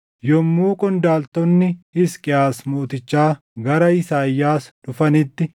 Yommuu qondaaltonni Hisqiyaas mootichaa gara Isaayyaas dhufanitti,